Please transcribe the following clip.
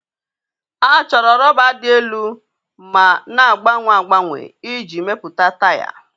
A chọrọ rọba rọba dị elu ma na-agbanwe agbanwe iji mepụta taya.